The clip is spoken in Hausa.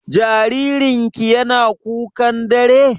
Jaririn ki yana kukan dare?